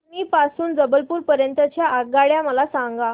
कटनी पासून ते जबलपूर पर्यंत च्या आगगाड्या मला सांगा